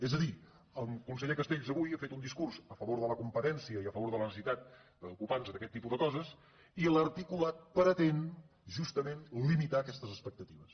és a dir el conseller castells avui ha fet un discurs a favor de la competència i a favor de la necessitat d’ocupar·nos d’aquest tipus de coses i l’articulat pretén justament limitar aquestes expectatives